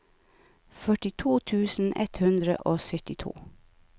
førtito tusen ett hundre og syttito